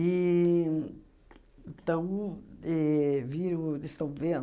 E então éh viram ou ainda estão vendo.